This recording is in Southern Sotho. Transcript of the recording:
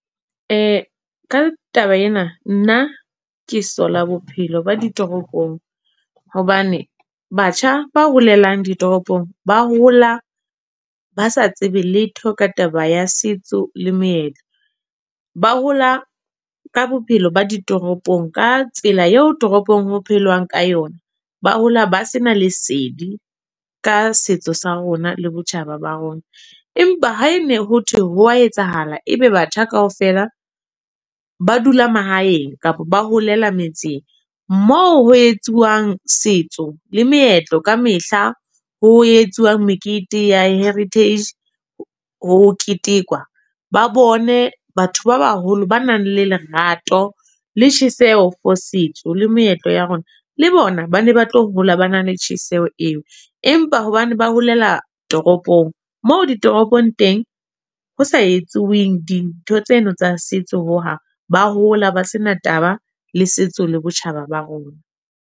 Ka taba ena, nna ke sola bophelo ba ditoropong. Hobane batjha ba holelang ditoropong, ba hola ba sa tsebe letho ka taba ya setso le moetlo. Ba hola ka bophelo ba ditoropong. Ka tsela eo toropong ho phelwang ka yona. Ba hola ba se na lesedi, ka setso sa rona le botjhaba ba rona. Empa ha ene ho thwe ho a etsahala. Ebe batho kaofela ba dula mahaeng kapa ba holela metseng, moo ho etsuwang setso le meetlo ka mehla. Ho etsuwang mekete ya heritage, ho ketekwa. Ba bone batho ba baholo ba nang le lerato, le tjheseho for setso le moetlo ya rona. Le bona ba ne ba tlo hola ba na le tjheseho eo. Empa hobane ba holela toropong, moo ditoropong teng ho sa etsweng dintho tseno tsa setso ho hang. Ba hola ba sena taba le setso le botjhaba ba rona.